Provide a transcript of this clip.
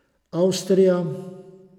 Avstrija ...